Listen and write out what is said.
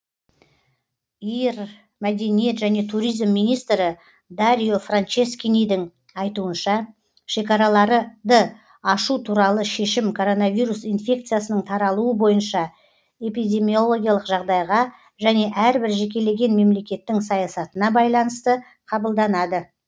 ир мәдениет және туризм министрі дарио франческинидің айтуынша шекараларыды ашу туралы шешім коронавирус инфекциясының таралуы бойынша эпидемиологиялық жағдайға және әрбір жекелеген мемлекеттің саясатына байланысты қабылданады